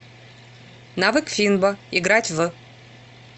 навык финбо играть в